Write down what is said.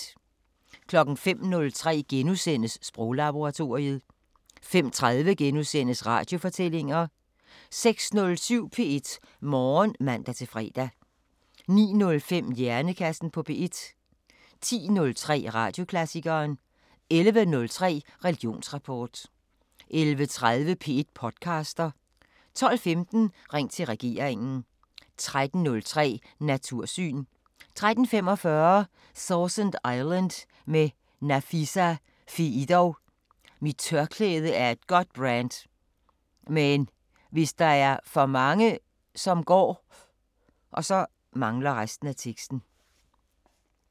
05:03: Sproglaboratoriet * 05:30: Radiofortællinger * 06:07: P1 Morgen (man-fre) 09:05: Hjernekassen på P1 10:03: Radioklassikeren 11:03: Religionsrapport 11:30: P1 podcaster 12:15: Ring til regeringen 13:03: Natursyn 13:45: Sausan Island med Nafisa Fiidow: "Mit tørklæde er et godt brand. Men hvis der er for mange, som går